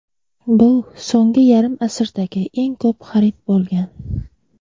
bu so‘nggi yarim asrdagi eng ko‘p xarid bo‘lgan.